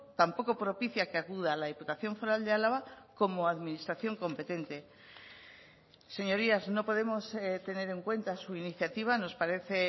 tampoco propicia que acuda la diputación foral de álava como administración competente señorías no podemos tener en cuenta su iniciativa nos parece